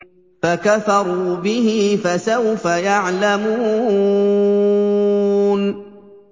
فَكَفَرُوا بِهِ ۖ فَسَوْفَ يَعْلَمُونَ